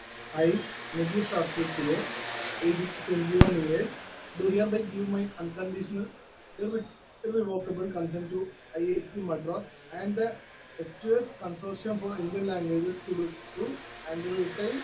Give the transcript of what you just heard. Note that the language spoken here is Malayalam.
speaker 1 I live you substantiate age to 21 years do here give my unconditional ഇറെ irrevocable consent to IIT Madras and സ്‌2സ്‌ consortium for Indian languages to do and written